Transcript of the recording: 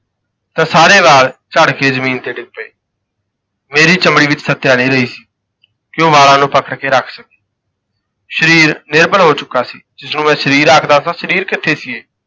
ਤਾਂ ਸਾਰੇ ਵਾਲ ਝੜ ਕੇ ਜ਼ਮੀਨ ਤੇ ਡਿੱਗ ਪਏ ਮੇਰੀ ਚਮੜੀ ਵਿੱਚ ਸ਼ੱਤਿਆ ਨਾ ਰਹੀ ਕਿ ਉਹ ਵਾਲਾ ਨੂੰ ਪਕੜ ਕੇ ਰੱਖ ਸਕੇ ਸਰੀਰ ਨਿਰਬਲ ਹੋ ਚੁੱਕਾ ਸੀ ਜਿਸਨੂੰ ਮੈਂ ਸਰੀਰ ਆਖਦਾ ਸਾਂ ਸਰੀਰ ਕਿੱਥੇ ਸੀ ਇਹ